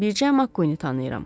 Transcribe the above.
Bircə Makkuini tanıyıram.